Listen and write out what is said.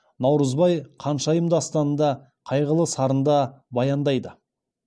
наурызбай қаншайым дастанында қайғылы сарында баяндайды